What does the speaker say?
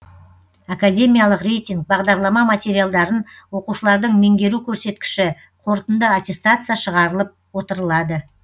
академиялық рейтинг бағдарлама материалдарын оқушылардың меңгеру көрсеткіші қорытынды аттестация шығарылып отырылады